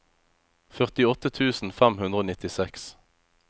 førtiåtte tusen fem hundre og nittiseks